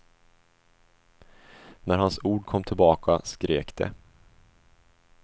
När hans ord kom tillbaka skrek de.